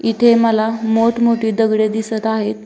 इथे मला मोठ मोठी दगडे दिसत आहेत.